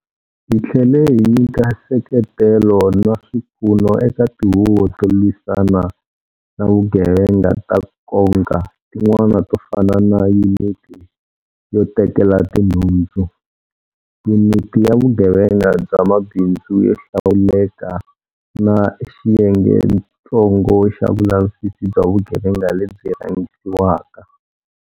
Hi tlhele hi nyika nseketelo na swipfuno eka tihuvo to lwisana na vugevenga ta nkoka tin'wana to fana na Yuniti yo Tekela Tinhundzu, Yuniti ya Vugevenga bya Mabindzu yo Hlawuleka na Xiyengetsongo xa Vulavisisi bya Vugevenga lebyi Rhangisiwaka.